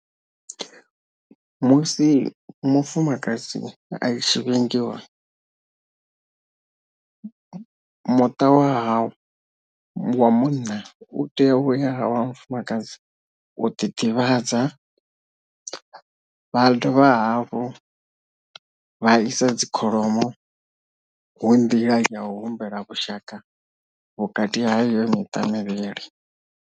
Musi mufumakadzi a i tshi vhingiwa, muṱa wa haawe wa munna u tea uya wa mufumakadzi u ḓi ḓivhadza vha dovha hafhu vha isa dzi kholomo hu nḓila yau humbela vhushaka vhukati ha iyo miṱa mivhili.